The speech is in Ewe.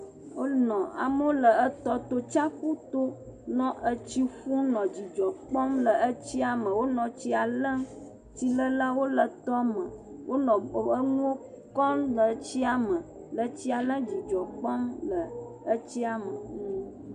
Wonɔ, wole tsiaƒu to nɔ atsi ƒum nɔ dzidzɔ kpɔm le etsia. Wonɔ tsia le. Tsi le lawo le tɔme. Wonɔ enuwo kpɔm le tsia me. Me sia me le dzidzɔ kpɔm le etsia me.